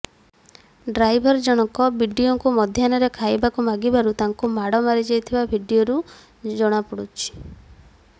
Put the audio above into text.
driver ଜଣକ ବିଡିଓଙ୍କୁ ମଧ୍ୟାହ୍ନରେ ଖାଇବାକୁ ମାଗିବାରୁ ତାଙ୍କୁ ମାଡ଼ ମରାଯାଉଥିବା ଭିଡିଓରୁ ଜଶାପଡ଼ୁଛି